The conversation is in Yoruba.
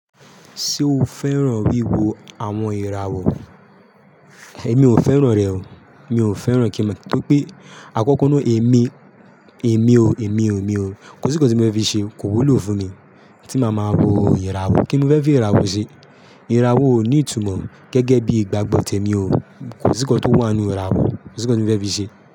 Ṣé o fẹ́ràn wíwo àwọn ìràwọ̀? Èmi ò fẹ́ràn rẹ̀ o. Mi ò fẹ́ràn kí mo, torí pé àkọ́kọ́ náà èmi, èmi o, èmi o, mi o. Kò sí nnkan tí mo fi ṣe, kò wúlò fún mi tí màá máa wo ìràwọ̀. Kí ni mo fẹ́ fi ìràwọ̀ ṣe? Ìràwọ̀ ò ní ìtumọ̀ gẹ́gẹ́ bí ìgbàgbọ́ tẹ̀mi o. Kò sí nnkan tó wà nínú ìràwọ̀, kò sí nnkan tí mo fẹ́ fi ṣe.